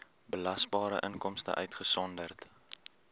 belasbare inkomste uitgesonderd